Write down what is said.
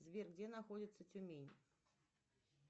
сбер где находится тюмень